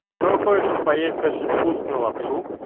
проходится поесть очень вкусную лапшу